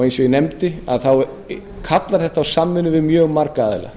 eins og ég nefndi þá kallar þetta á samvinnu við mjög marga aðila